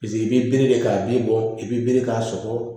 Paseke i bɛ bere de k'a bɛ bɔ i bɛ bere k'a sɔgɔ